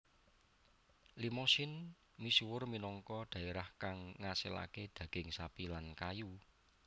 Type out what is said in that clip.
Limousin misuwur minangka dhaerah kang ngasilaké daging sapi lan kayu